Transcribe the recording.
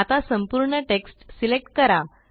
आता संपूर्ण text select करा